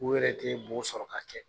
U yɛrɛ te bo sɔrɔ ka kɛ.